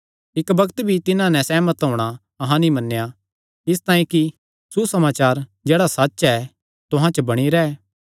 इक्क बग्त भी तिन्हां नैं सेहमत होणा अहां नीं मन्नेया इसतांई कि सुसमाचार जेह्ड़ा सच्च ऐ तुहां च बणी रैंह्